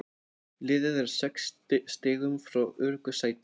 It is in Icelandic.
Liðið er sex stigum frá öruggu sæti.